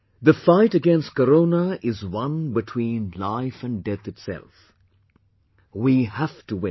The fight against Corona is one between life and death itself...we have to win